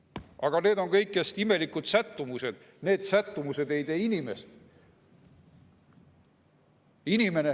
Aga need on kõigest imelikud sättumused, need sättumused ei tee inimest.